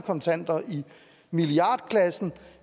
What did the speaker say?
kontanter i milliardklassen